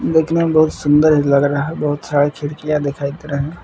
देखने में बहुत सुंदर लग रहा बहुत सारी खिड़कियां दिखाई दे रहे है।